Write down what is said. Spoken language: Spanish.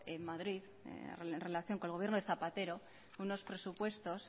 en madrid en relación con el gobierno de zapatero de unos presupuestos